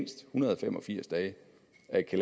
at